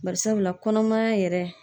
Barisabula kɔnɔmaya yɛrɛ